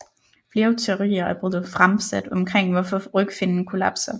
Flere teorier er blevet fremsat omkring hvorfor rygfinnen kollapser